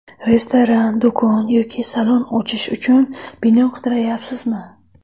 Restoran, do‘kon yoki salon ochish uchun bino qidiryapsizmi?